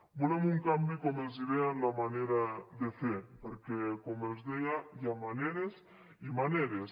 volem un canvi com els deia en la manera de fer perquè com els deia hi ha maneres i maneres